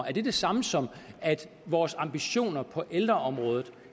er det det samme som at vores ambitioner på ældreområdet